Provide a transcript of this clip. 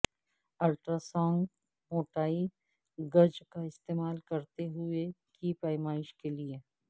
ultrasonic موٹائی gauge کا استعمال کرتے ہوئے کی پیمائش کے لئے